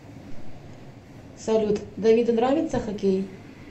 салют давиду нравится хоккей